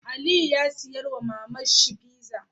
Aliyu ya siya wa maman shi pizza